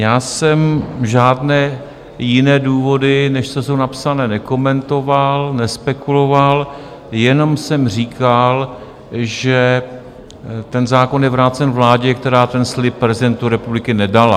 Já jsem žádné jiné důvody, než co jsou napsané, nekomentoval, nespekuloval, jenom jsem říkal, že ten zákon je vrácen vládě, která ten slib prezidentu republiky nedala.